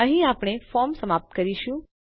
અહીં આપણે ફોર્મ સમાપ્ત કરીશું